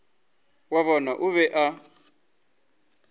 wa bona o be a